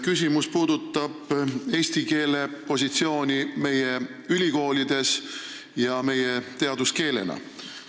Küsimus puudutab eesti keele positsiooni meie ülikoolides ja teaduskeelena.